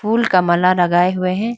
फूल का माला लगाए हुए हैं।